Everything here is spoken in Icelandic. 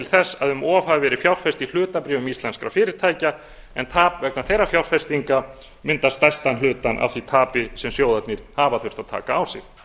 þess að um of hafi verið fjárfest í hlutabréfum íslenskra fyrirtækja en tap vegna þeirra fjárfestinga mynda stærstan hlutann af því tapi sem sjóðirnir hafa þurft að taka á sig